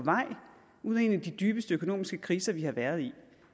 vej ud af en af de dybeste økonomiske kriser vi har været i